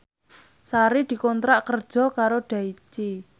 Sari dikontrak kerja karo Daichi